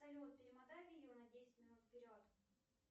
салют перемотай видео на десять минут вперед